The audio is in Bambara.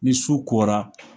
Ni su kora